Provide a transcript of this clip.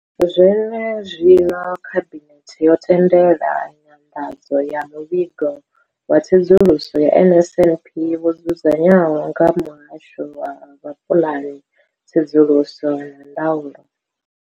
Zwene zwino, Khabinethe yo tendela nyanḓadzo ya Muvhigo wa Tsedzuluso ya NSNP wo dzudzanywaho nga Muhasho wa Vhupulani, Tsedzuluso na Ndaulo.